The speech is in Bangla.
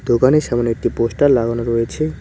দোকানের সামনে একটি পোস্টার লাগানো রয়েছে।